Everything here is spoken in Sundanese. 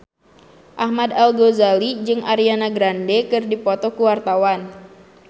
Ahmad Al-Ghazali jeung Ariana Grande keur dipoto ku wartawan